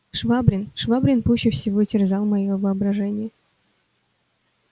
швабрин швабрин пуще всего терзал моё воображение